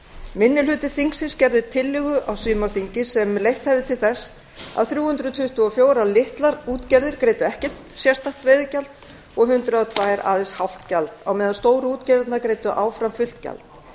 minni hluti þingsins gerði tillögu á sumarþingi sem leitt hefði til þess að þrjú hundruð tuttugu og fjórar litlar útgerðir greiddu ekkert sérstakt veiðigjald og hundrað og tvö aðeins hálft gjald á meðan stóru útgerðirnar greiddu áfram fullt gjald